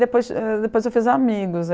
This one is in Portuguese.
Depois ãh, depois eu fiz amigos.